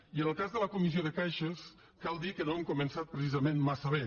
i en el cas de la comissió de caixes cal dir que no hem començat precisament massa bé